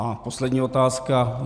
A poslední otázka.